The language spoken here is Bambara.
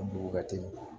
dugu ka teli